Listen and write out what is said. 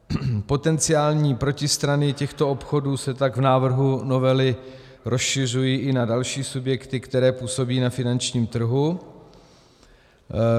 Potenciální protistrany těchto obchodů se tak v návrhu novely rozšiřují i na další subjekty, které působí na finančním trhu.